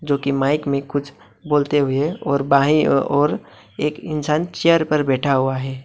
जो कि माइक में कुछ बोलते हुए और बाएं ओर एक इंसान चेयर पर बैठा हुआ है।